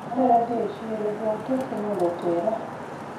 Adwaro dhi e chiro, luong teksi mondo otera